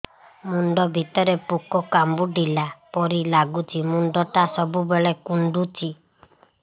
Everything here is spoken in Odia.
ମୁଣ୍ଡ ଭିତରେ ପୁକ କାମୁଡ଼ିଲା ପରି ଲାଗୁଛି ମୁଣ୍ଡ ଟା ସବୁବେଳେ କୁଣ୍ଡୁଚି